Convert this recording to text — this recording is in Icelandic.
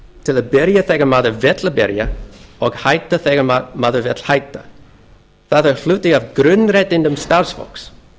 til að byrja þegar maður vill byrja og hætta þegar maður vill hætta það er hluti af grunnréttindum starfsfólks